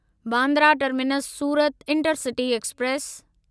Bandra terminus Surat intercity express